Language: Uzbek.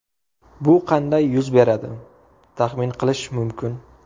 Bu qanday yuz beradi, taxmin qilish mumkin.